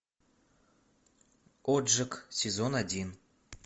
отжиг сезон один